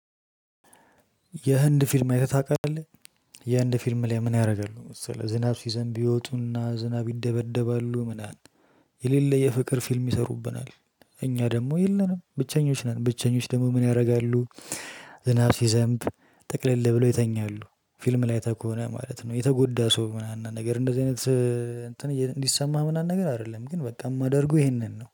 የህንድ ፊልም አይተህ ታውቃለህ? የህንድ ፊልም ላይ ምን ያደርጋሉ መሰለህ ዝናብ ሲዘንብ ይወጡና ዝናብ ይደበደባሉ ምናምን። የሌለ የፍቅር ፊልም ይሰሩብናል እኛ ደግሞ የለንም ብቸኞች ነን። ብቸኞች ደግሞ ምን ያደርጋሉ? ዝናብ ሲዘንብ ጥቅለሌ ብለው ይተኛሉ። ፊልም ላይ አይተ ከሆነ ማለት ነው። የተጎዳ ሰው ምናምን ነገር እንደዚህ አይነት። እንትን እንዲሰማህ ምናምን ነገር አይደለም ግን በቃ የማደርገው ይሄንን ነው